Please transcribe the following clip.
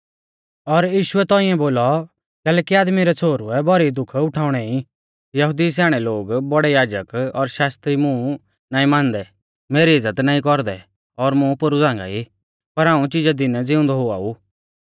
और यीशुऐ तौंइऐ बोलौ कैलैकि आदमी रै छ़ोहरुऐ भौरी दुःख उठाउणै ई यहुदी स्याणै लोग बौड़ै याजक और शास्त्री मुं नाईं मानदै मेरी इज़्ज़त नाईं कौरदै और मुं पोरु झ़ांगाई पर हाऊं चिजै दीनै ज़िउंदौ हुआ ऊ